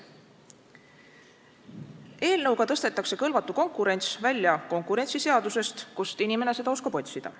Eelnõu kohaselt tõstetakse kõlvatu konkurents välja konkurentsiseadusest, kust inimene seda oskab otsida.